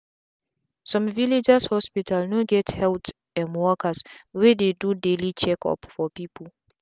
some villagers hospital no get health um workers wey dey do daily check up for people.